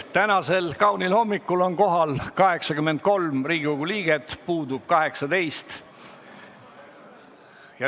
Tänasel kaunil hommikul on kohal 83 Riigikogu liiget, puudub 18.